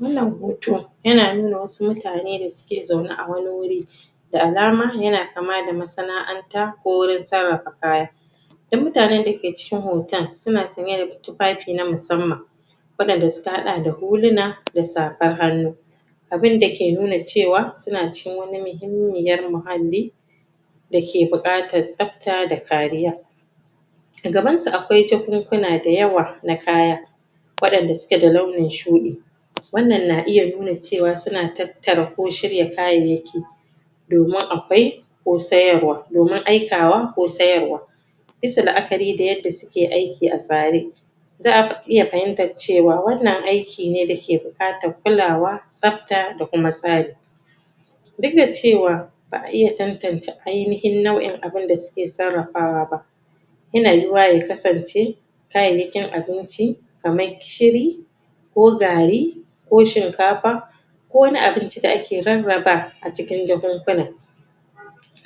wannan hoto yana nuna wasu mutane da suke zaune a wani wuri da alama yana kama da masana'anta ko gurin sarrafa kaya duk mutanen dake cikin hoton suna saye da tufafi na musamman waɗanda suka haɗa da su huluna da safar hanu abinda ke nuna cewa suna cikin wani muhimmiyar muhalli dake buƙatar tsabta da kariya agaban su akwai jakunkuna dayawa na kaya waɗanda suke da launin shuɗi wannan na iya nuna cewa suna tattara ko shirya kayayyaki domin akwai ko sayarwa domin aikawa ko sayarwa bisa la'akari da yadda suke aiki a tsare za'a iya fahimtar cewa wannan aiki ne dake buƙatar kulawa, tsabta da kuma tsari duk da cewa ba'a iya tantace ainihin nau'in abun da suke sarrafawa ba yana yiwuwa ya kasance kayayyakin abinci kamar gishiri ko gari ko shinkafa kowani abinci da ake rarraba acikin jakunkuna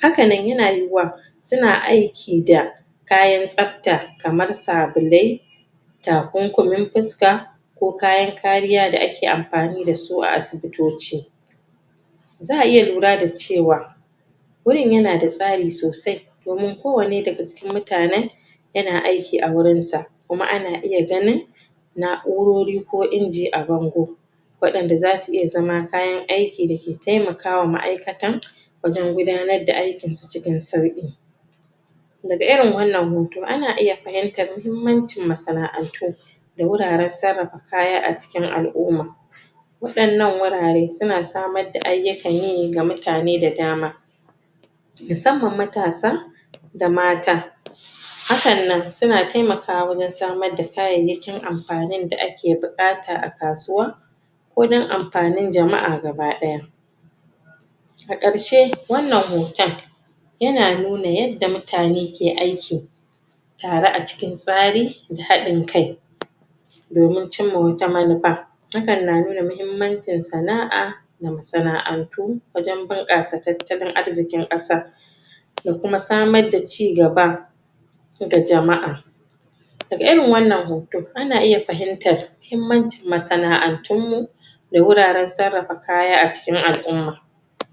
hakanan yana yiwuaw suna aiki da kayan tsabta kamar sabulai takunkumin fuska ko kayan kariya da ake anfani da su a asibitoci za'a iya lura da cewa gurin yanada tsari sosai domin kowannae daga cikin mutanen yana aiki a wurin sa kuma ana iya ganin na'urori ka inji abango waɗanda zasu iya zama kayan aiki dake taimaka wa ma'aikata wajan gudanar da aikinsu cikin saui daga irin wannan hoto iya fahimtar mahimmancin masana'atu da wurwran sarafa kaya acikin al'umma waɗannan wurare suna samad da ayyukan yi wa mutane da dama musamman matasa da mata hakan nan suna taimakawa wajen samad da kayayyakin anfanin da ake bukata akasuwa ko na anfanin jama'a gabaɗaya akarshe wannan hotan yana nuna yadda mutane ke aiki tare acikin tsari da haɗin kai domin cimma wata manufa hakan na nuna mahimmancin sana'a da masana 'antu wajan buƙasa tattalin arziin ƙasa da kuma samad da ci gaba ga jama' daga irin wannan hoto ana iya fahimtar mahimmancin masana'antun mu da wurwren sarrafa kaya acikin al'umma